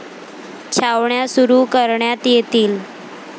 छावण्या सुरु करण्यात येतील.